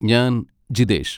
ഞാൻ ജിതേഷ്.